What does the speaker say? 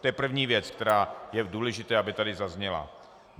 To je první věc, která je důležitá, aby tady zazněla.